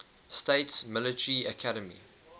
states military academy